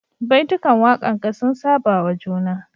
Baitukan wakanka sun saba wa juna